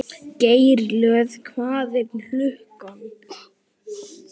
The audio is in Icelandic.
Geirlöð, hvað er klukkan?